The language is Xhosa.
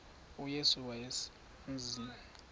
uyesu wayeselemazi lo